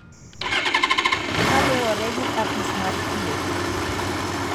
kaluwore gi Apis mar Thieth.